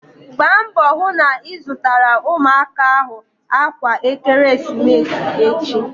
Gbaa mbọ hụ na ị zụtara ụmụaka ahụ akwa ekeresimesi echi!